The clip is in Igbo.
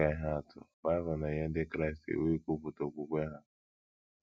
Dị ka ihe atụ, Bible na - enye Ndị Kraịst iwu ikwupụta okwukwe ha.